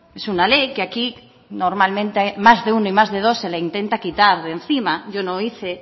es una ley que aquí normalmente más de uno y más de dos se les intenta quitar de encima yo no hice